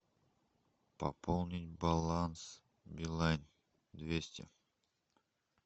пополнить баланс билайн двести